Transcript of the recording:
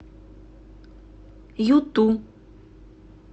юту